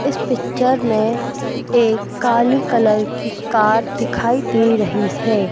इस पिक्चर में एक काली कलर की कार दिखाई दे रही है।